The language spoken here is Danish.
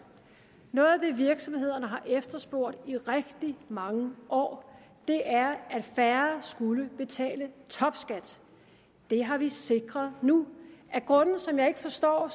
noget af det virksomhederne har efterspurgt i rigtig mange år er at færre skulle betale topskat det har vi sikret nu af grunde som jeg ikke forstår